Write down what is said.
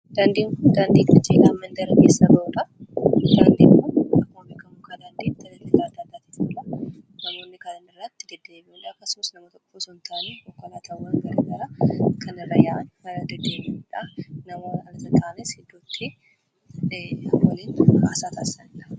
Daandiin kun daandii mandara keessa bahudha. Daandiin kun dhagaa boca kiyuubii qabuun kan tolfamee fi daandii hojjachuuf kan bocamedha. baay'ee kan bareedudha.